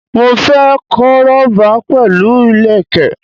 Mo fẹ́ koroba pẹ̀lú ìlẹ̀kẹ̀